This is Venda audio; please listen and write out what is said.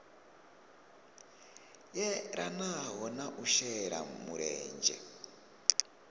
yelanaho na u shela mulenzhe